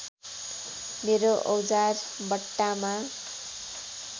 मेरो औजार बट्टामा